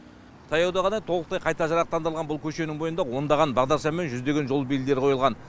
таяуда ғана толықтай қайта жарақтандырылған бұл көшенің бойында ондаған бағдаршам мен жүздеген жол белгілері қойылған